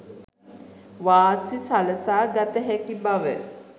වාසි සලසා ගත හැකි බව